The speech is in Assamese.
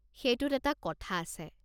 সেইটোত এটা কথা আছে।